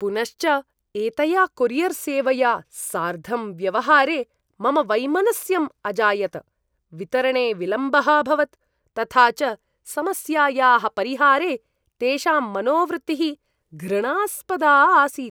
पुनश्च एतया कोरियर्सेवया सार्धं व्यवहारे मम वैमनस्यं अजायत, वितरणे विलम्बः अभवत्, तथा च समस्यायाः परिहारे तेषां मनोवृत्तिः घृणास्पदा आसीत्।